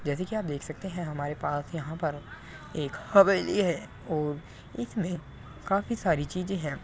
जैसे कि आप देख सकते है हमारे पास यहाँ पर एक हवेली है और इसमे काफी सारी चीजें है।